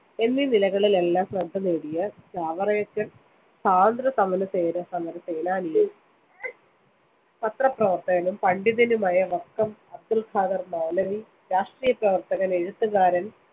എന്നീനിലകളിലെല്ലാം ശ്രദ്ധനേടിയ ചാവറയച്ചന്‍, സ്വാതന്ത്ര്യസമരസേനാനിയും പത്രപ്രവര്‍ത്തകനും പണ്ഡിതനുമായ വക്കം അബ്‌ദുൽ ഖാദര്‍ മൗലവി, രാഷ്ട്രീയപ്രവര്‍ത്തകന്‍, എഴുത്തുകാരന്‍,